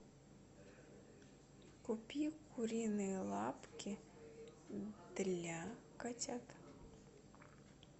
купи куриные лапки для котят